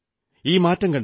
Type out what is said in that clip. ഈ മാറ്റം കണ്ടില്ലേ